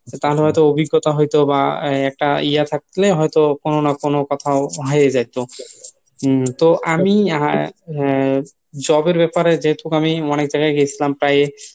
তা না হয়তো অভিজ্ঞতা হইতো বা একটা ইয়া থাকলে হয়তো কোনো না কোনো কোথায়ও হয়েই যাইতো। উম তো আমি আহ job এর ব্যাপারে যেহেতু আমি অনেক জায়গায় গেসিলাম প্রায়